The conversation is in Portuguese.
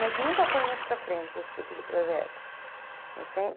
Mas nunca foi muito para frente esse tipo de projeto.